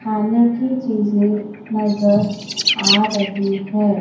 खाने की चीजें नजर आ रही है।